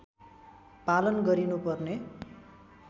पालन गरिनु पर्ने